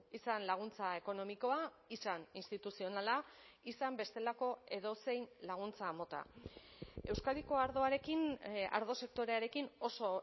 izan laguntza ekonomikoa izan instituzionala izan bestelako edozein laguntza mota euskadiko ardoarekin ardo sektorearekin oso